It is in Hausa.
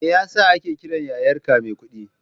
Me ya sa ake kiran yayarka Maikuɗi?